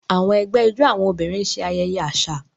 Àwọn ẹgbẹ́ ijó àwọn obìnrin ń ṣe ayẹyẹ àṣà.